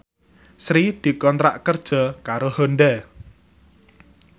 Sri dikontrak kerja karo Honda